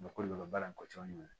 Mɔgɔ de bɛ ka baara in kɔ cɔn